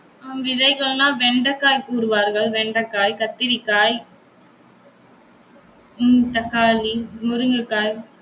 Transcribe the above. ஆஹ் விதைகள்னா வெண்டைக்காய் கூறுவார்கள். வெண்டைக்காய், கத்தரிக்காய், உம் தக்காளி, முருங்கைக்காய்